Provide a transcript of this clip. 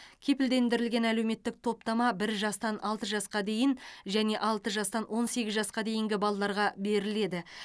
кепілдендірілген әлеуметтік топтама бір жастан алты жасқа дейін және алты жастан он сегіз жасқа дейінгі балаларға беріледі